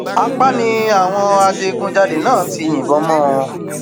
apá ni àwọn adigunjalè náà ti yìnbọn mọ ọn